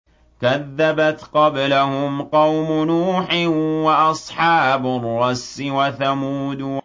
كَذَّبَتْ قَبْلَهُمْ قَوْمُ نُوحٍ وَأَصْحَابُ الرَّسِّ وَثَمُودُ